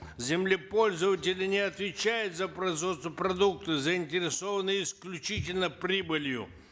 землепользователи не отвечают за производство продуктов заинтересованы исключительно прибылью